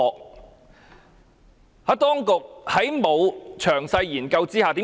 為何我指當局沒有作詳細研究？